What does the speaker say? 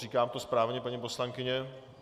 Říkám to správně, paní poslankyně?